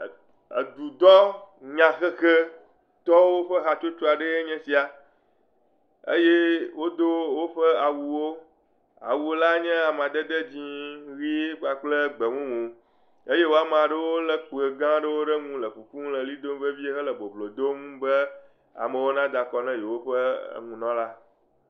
Edudɔ nyahehetɔwo ƒe hatsotso aɖee nya esia eye wodo woƒe awuwo. Awula nyeAmadede dzɛ, ɣie kpakple gbemumu eye wòa ame aɖewo le kpẽ gã ɖe le kuku le ɣli dom vevie hele boblo dom be amewo na dakɔ na yewo ƒe nunɔla.